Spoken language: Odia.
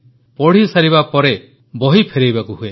ପଢ଼ିସାରିବା ପରେ ବହି ଫେରାଇବାକୁ ହୁଏ